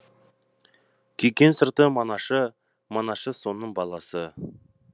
күйкен сырты манашы манашы соның баласы